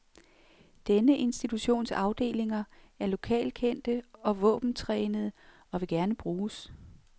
Denne institutions afdelinger er lokalkendte og våbentrænede, og vil gerne bruges.